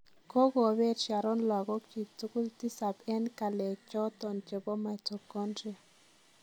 Kogobeet Sharon logok chiig tugul tisab en kalekchoton chebo mitochondria.